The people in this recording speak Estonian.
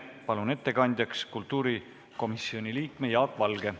Palun ettekandjaks kultuurikomisjoni liikme Jaak Valge.